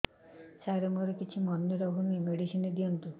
ସାର ମୋର କିଛି ମନେ ରହୁନି ମେଡିସିନ ଦିଅନ୍ତୁ